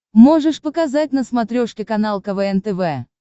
можешь показать на смотрешке канал квн тв